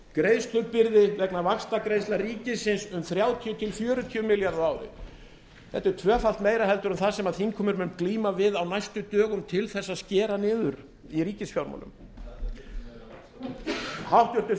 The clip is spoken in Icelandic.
greiðslubyrði vegna vaxtagreiðslna ríkisins um þrjátíu til fjörutíu milljarða á ári þetta er tvöfalt meira en það sem þingheimur mun glíma við á næstu dögum til að skera niður í ríkisfjármálum háttvirtur